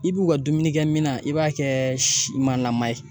I b'u ka dumuni kɛ mina i b'a kɛ ma ye